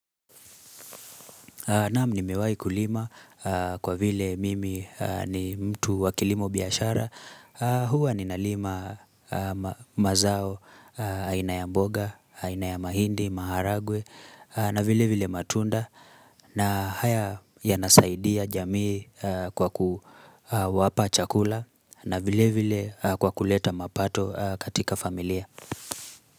Naam nimewahi kulima kwa vile mimi ni mtu wakilimo biashara. Hua ninalima mazao aina ya mboga, aina ya ma hindi, maharagwe, na vile vile matunda. Na haya yanasaidia jamii kwa kuwapa chakula na vile vile kwa kuleta mapato katika familia.